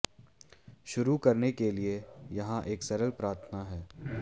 शुरू करने के लिए यहां एक सरल प्रार्थना है